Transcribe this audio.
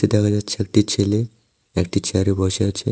দেখা যাচ্ছে একটি ছেলে একটি চেয়ারে বসে আছে।